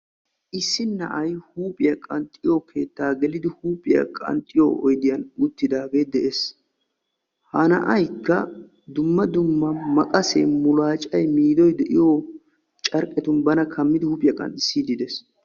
Issi na'ay huuphiya qanxxiyo keetta geliiddi ba huuphiya dumma dumma mulaccan, maqqassiyan ba huuphiya qanxxissidde de'ees.